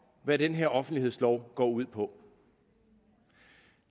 hvad den her offentlighedslov går ud på